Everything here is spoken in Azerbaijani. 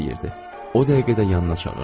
O dəqiqə də yanına çağırdı.